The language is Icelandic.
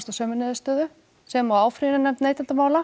að sömu niðurstöðu sem og áfrýjunarnefnd neytendamála